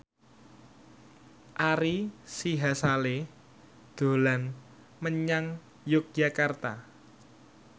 Ari Sihasale dolan menyang Yogyakarta